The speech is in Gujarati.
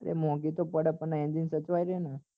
એ મોંઘી તો પડે પણ engine સચવાઈ રહે ને